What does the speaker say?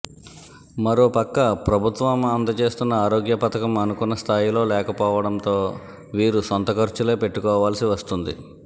మరోపక్క ప్రభుత్వం అందజేస్తున్న ఆరోగ్య పథకం అనుకున్న స్థాయిలో లేకపోవడంతో వీరు సొంత ఖర్చులే పెట్టుకోవాల్సి వస్తోంది